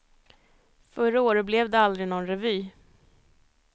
Förra året blev det aldrig någon revy.